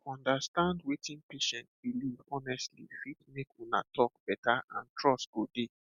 to understand wetin patient believe honestly fit make una talk better and trust go dey